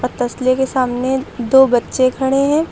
तसले के सामने दो बच्चे खड़े हैं।